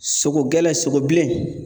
Sogo gɛlɛn sogo bilen